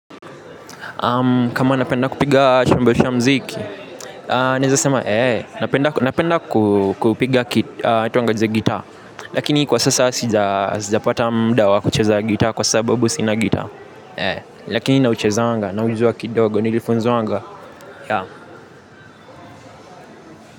Kama napenda kupiga chambelisha mziki, neza sema, napenda kupiga kituanga jize gita, lakini kwa sasa sija pata mdawa kucheza gita, kwa sababu sinagita, ee, lakini na ucheza wanga, na ujizua kidogo, nilifunzo wanga, ya.